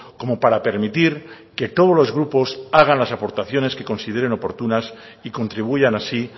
como para permitir que todos los grupos hagan las aportaciones que consideren oportunas y contribuyan así